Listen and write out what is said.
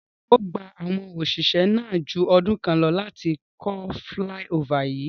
Rara, O gba awọn oṣiṣẹ naa ju ọdun kan lọ lati kọ filaiofa yii